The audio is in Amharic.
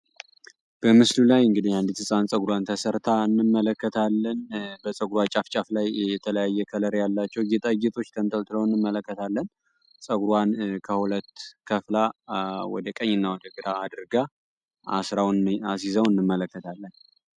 በምስሉ ላይ እንግዲህ አንዲት ህፃን ፀጉሯን ተሰርታ እንመለከታለን በፀጉሯ ጫፍ ጫፍ ላይ የተለያየ ከለር ያላቸው ጌጣጌጦች ተንጠልጥለው እንመለከታለን። ፀጉሯን ወደ ሁለት ከፍላ ወደቀኝና ወደ ግራ አድርጋ አስራ አስይዛው እንመለከታለን።